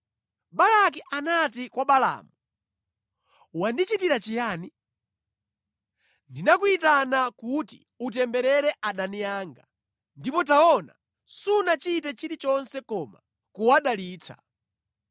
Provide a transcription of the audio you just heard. Balaki anati kwa Balaamu, “Wandichitira chiyani? Ndinakuyitana kuti utemberere adani anga, ndipo taona, sunachite chilichonse koma kuwadalitsa!”